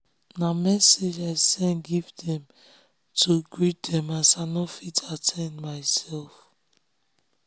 na message i send give dem to greet dem as i nor fit at ten d myself